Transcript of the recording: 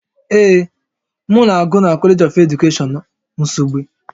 Ee, m na-agụ na College of Education Nsugbe